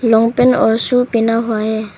Long pant और shoes पहना हुआ है।